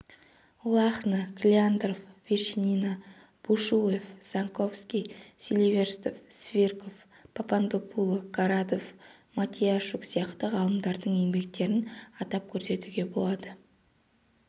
лахно клеандров вершинина бушуев занковский силиверстов свирков попондопуло городов матиящук сияқты ғалымдардың еңбектерін атап көрсетуге болады